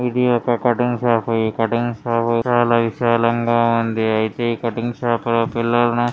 ఇది ఒక cutting shop. ఈ కటింగ్ షాప్ చాలా విశాలంగా ఉంది. అయితే ఈ కటింగ్ షాప్ లో పిల్లాడు.